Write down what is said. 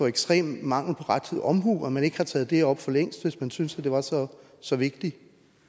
ekstrem mangel på rettidig omhu at man ikke har taget det op for længst hvis man syntes det var så så vigtigt